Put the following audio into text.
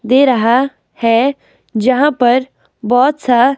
दे रहा है जहां पर बहुत सा--